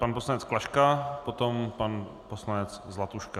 Pan poslanec Klaška, potom pan poslanec Zlatuška.